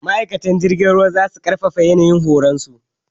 Ma'aikatan jirgin ruwa zasu ƙarfafa yanayin horon su.